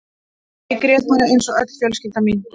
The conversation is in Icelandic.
Ég grét bara eins og öll mín fjölskylda.